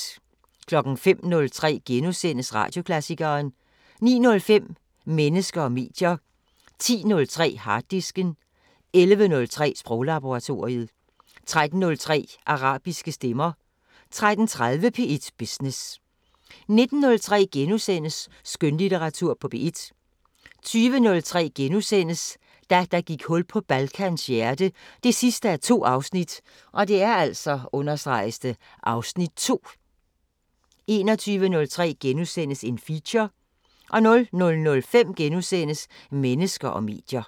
05:03: Radioklassikeren * 09:05: Mennesker og medier 10:03: Harddisken 11:03: Sproglaboratoriet 13:03: Arabiske stemmer 13:30: P1 Business 19:03: Skønlitteratur på P1 * 20:03: Da der gik hul på Balkans hjerte 2:2 (Afs. 2)* 21:03: Feature * 00:05: Mennesker og medier *